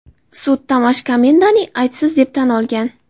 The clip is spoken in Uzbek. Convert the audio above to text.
Sud Tomash Komendani aybsiz deb tan olgan.